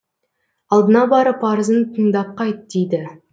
алдына барып арызын тыңдап қайт дейді